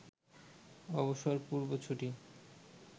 অবসরপূর্ব ছুটি